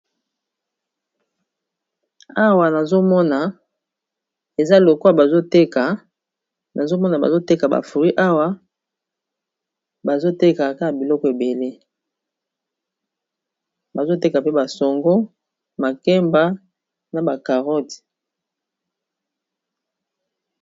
Awa nazomona eza lokola bazoteka nazomona bazoteka ba fruit awa, bazotekaka biloko ebele, bazoteka pe basongo, makemba na ba carotte.